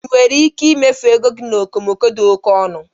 Ị nwere ike imefu ego gị na okomoko dị oke ọnụ?